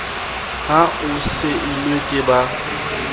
ha o seilwe ke ba